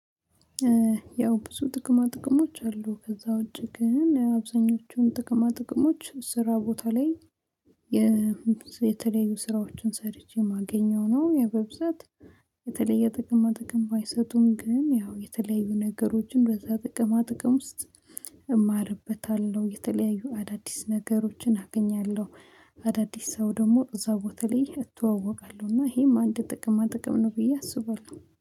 ያው ብዙ ጥቅማ ጥቅሞች አሉ ከዛ ውጪ ግን አብዛኞቹን ጥቅማ ጥቅሞች ስራ ቦታ ላይ የተለያዩ ስራዎችን ሰርቼ የማገኘው ነው ያው በብዛት የተለየ ጥቅማ ጥቅም ባይሰጡም ግን ያው የተለያዩ ነገሮችን በዛ ጥቅማ ጥቅም ውስጥ እማርበታለሁ የተለያዩ አዳዲስ ነገሮችን አገኛለሁ። አዳዲስ ሰው ደግሞ እዛ ቦታ ላይ እተዋወቃለሁ እና ይሄማ አንድ ጥቅማ ጥቅም ነው ብዬ አስባለሁ።